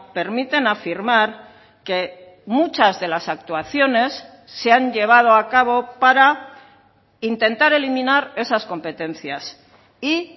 permiten afirmar que muchas de las actuaciones se han llevado a cabo para intentar eliminar esas competencias y